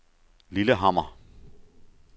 Lillehammer